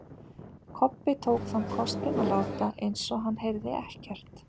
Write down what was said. Kobbi tók þann kostinn að láta eins og hann heyrði ekkert.